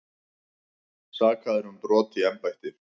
Sakaðir um brot í embætti